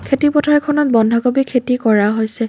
খেতি পথাৰখনত বন্ধাকবি খেতি কৰা হৈছে।